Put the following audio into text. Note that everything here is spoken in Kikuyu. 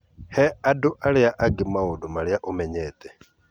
He andũ arĩa angĩ maũndũ marĩa ũmenyete.